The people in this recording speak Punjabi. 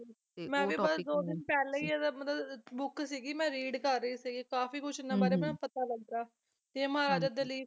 ਤੇ ਮੈਂ ਵੀ ਬਸ ਦੋ ਦਿਨ ਪਹਿਲਾ ਹੀ ਇਹਦਾ ਮਤਲਬ book ਸੀਗੀ ਮੈਂ read ਕਰ ਰਹੀ ਸੀ ਗੀ ਕਾਫੀ ਕੁਛ ਨਾ ਇਹਨਾਂ ਬਾਰੇ ਪਤਾ ਲੱਗਾ ਤੇ ਮਹਾਰਾਜਾ ਦਲੀਪ